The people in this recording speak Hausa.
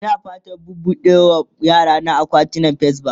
Ina fatan buɓuɗe ma yarana akawunt a fes bank